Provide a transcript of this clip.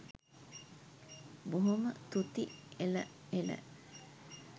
බොහොම තුති එළ එළ